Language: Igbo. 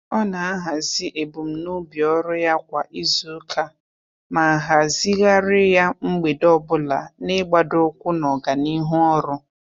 Ọ na-ahazị ebumnobi ọrụ ya kwa izuụka ma hazịghari ya mgbede ọbụla n'igbadoụkwụ na ọganihu ọrụ.